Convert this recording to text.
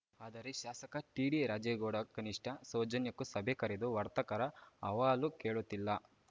ಆದರೆ ಶಾಸಕ ಟಿಡಿ ರಾಜೇಗೌಡ ಕನಿಷ್ಠ ಸೌಜನ್ಯಕ್ಕೂ ಸಭೆ ಕರೆದು ವರ್ತಕರ ಆಹವಾಲು ಕೇಳುತ್ತಿಲ್ಲ